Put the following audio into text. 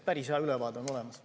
Päris hea ülevaade on olemas.